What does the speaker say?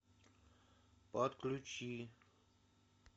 подключи